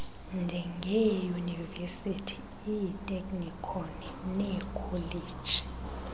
njengeeyunivesithi iiteknikhoni neekholeji